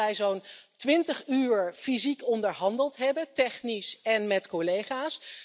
Ik denk dat wij zo'n twintig uur fysiek onderhandeld hebben, technisch en met collega's.